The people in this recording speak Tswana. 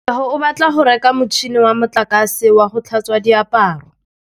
Katlego o batla go reka motšhine wa motlakase wa go tlhatswa diaparo.